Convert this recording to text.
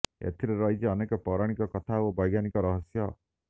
ଏଥିରେ ରହିଛି ଅନେକ ପୌରାଣିକ କଥା ଓ ବୈଜ୍ଞାନିକ ରହସ୍ୟ